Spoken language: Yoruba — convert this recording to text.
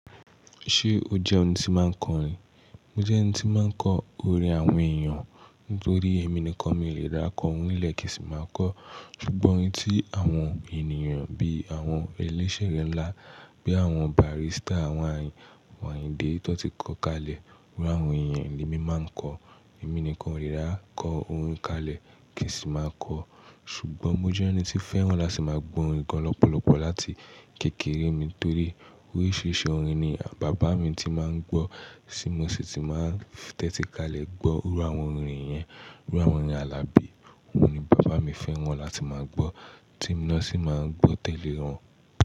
Ṣé o jẹ́ ẹni tí máa ń kọrin? Mo jẹ́ ẹni tí máa ń kọ orin àwọn èèyàn nítorí èmi nìkan mi lè da kọ orin nílẹ̀ kì í sì máa kọ. Ṣùgbọ́n orin tí àwọn ènìyàn bí i àwọn elẹ́sẹ̀ rẹ ńlá, bí i àwọn barista, àwọn Ayinde tí wọ́n ti kọ́ kalẹ̀, orin àwọn èèyàn ni mí máa ń kọ. Èmi nìkan o le dakọ oorin kalẹ̀ kì í sì máa kọ. Ṣùgbọ́n mo jẹ́ ẹni tí fẹ́ran láti máa gbọ́ orin gan lọpọlọpọ láti kékeré mi torí oríṣiríṣi orin ni bàbá mi ti máa ń gbọ́ tí mo sì ti máa tẹ́tí kalẹ̀ gbọ́. Iru awonOrin yen, iru awon orin à Alabi, òun ni bàbá mi fẹ́ran láti máa gbọ́ tí mo náà sì máa ń gbọ́ tẹ́lẹ̀ ẹ́ wọn.